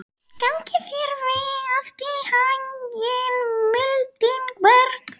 Gangi þér allt í haginn, Mildinberg.